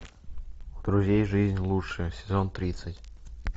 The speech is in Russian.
у друзей жизнь лучше сезон тридцать